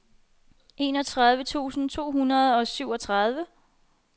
enogtredive tusind to hundrede og syvogtredive